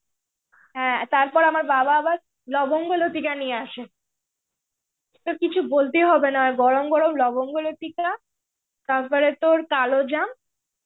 হ্যাঁ, তারপর আমার বাবা আবার লবঙ্গ লতিকা নিয়ে আসে. তোর কিছু বলতে হবে না. গরম গরম লবঙ্গ লতিকা তারপরে তোর কালো জাম,